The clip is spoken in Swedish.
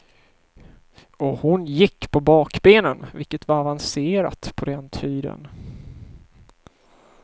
Och hon gick på bakbenen, vilket var avancerat på den tiden.